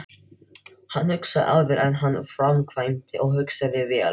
Hann hugsaði áður en hann framkvæmdi og hugsaði vel.